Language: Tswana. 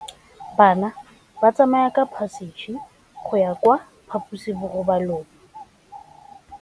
Bana ba tsamaya ka phašitshe go ya kwa phaposiborobalong.